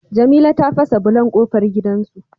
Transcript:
Jamila ta fasa bulon kofar gidan su